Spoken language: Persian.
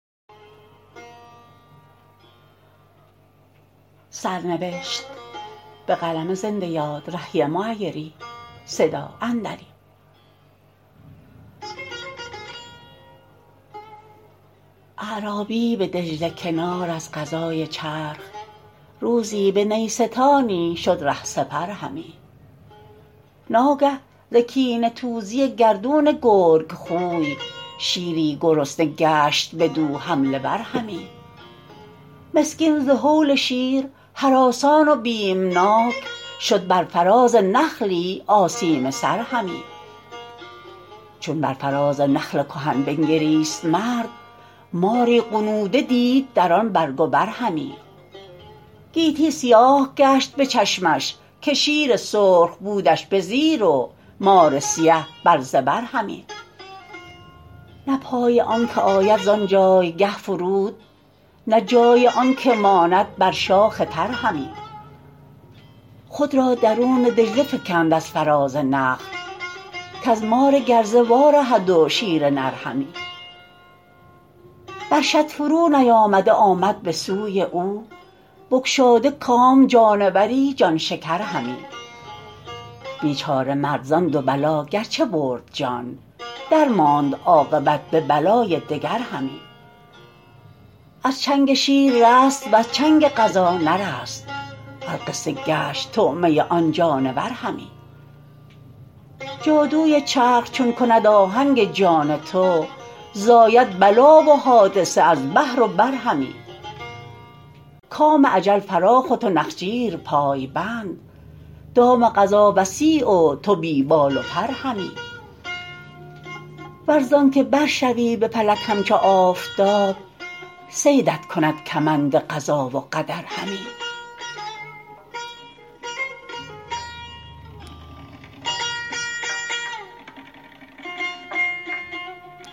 اعرابی ای به دجله کنار از قضای چرخ روزی به نیستانی شد ره سپر همی ناگه ز کینه توزی گردون گرگ خوی شیری گرسنه گشت بدو حمله ور همی مسکین ز هول شیر هراسان و بیمناک شد بر فراز نخلی آسیمه سر همی چون بر فراز نخل کهن بنگریست مرد ماری غنوده دید در آن برگ و بر همی گیتی سیاه گشت به چشمش که شیر سرخ بودش به زیر و مار سیه بر زبر همی نه پای آنکه آید ز آن جایگه فرود نه جای آن که ماند بر شاخ تر همی خود را درون دجله فکند از فراز نخل کز مار گرزه وارهد و شیر نر همی بر شط فرو نیامده آمد به سوی او بگشاده کام جانوری جان شکر همی بیچاره مرد ز آن دو بلا گرچه برد جان درماند عاقبت به بلای دگر همی از چنگ شیر رست و ز چنگ قضا نرست القصه گشت طعمه آن جانور همی جادوی چرخ چون کند آهنگ جان تو زاید بلا و حادثه از بحر و بر همی کام اجل فراخ و تو نخجیر پای بند دام قضا وسیع و تو بی بال و پر همی ور ز آنکه بر شوی به فلک همچو آفتاب صیدت کند کمند قضا و قدر همی